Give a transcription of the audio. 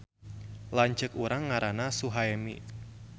Lanceuk urang ngaranna Suhaemi